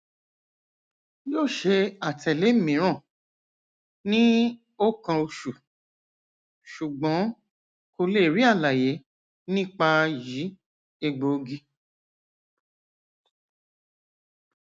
yoo ṣe atẹle miiran ni o kan osu sugbon ko le ri alaye nipa yi egboogi